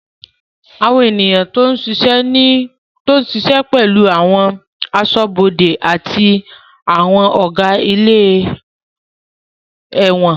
Àwọn èèyàn tó ń ṣiṣẹ́ ní ẹ̀wọ̀n pẹ̀lú àwọn aṣọ́bọdè àti àwọn Ọ̀gá ilé ẹ̀wọ̀n